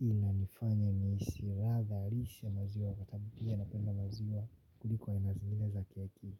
Hii na nifanyo ni siratha rish ya maziwa Katabutia napenda maziwa kuliko inazimine za keki.